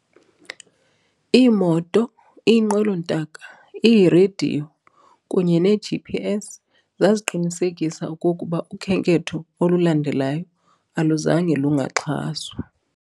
Ii-Moto, iiNqwelo-ntaka, ii-Radiyo, kunye ne-GPS zaqinisekisa okokuba ukhenketho olulandelayo aluzange "lungaxhaswa".